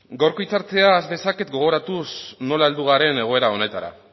gaurko hitza hartzea has dezaket gogoratuz nola heldu garen egoera honetara